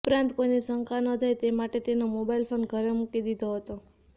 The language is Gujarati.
ઉપરાંત કોઈને શંકા ન જાય તે માટે તેનો મોબાઈલ ફોન ઘરે મુકી દીધો હતો